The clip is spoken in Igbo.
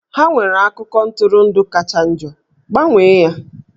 Ha nwere akụkọ ntụrụndụ kacha njọ, gbanwee ya!